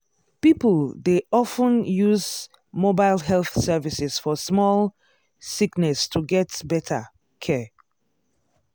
people dey of ten use mobile health services for small sickness to get better care.